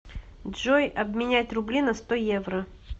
джой обменять рубли на сто евро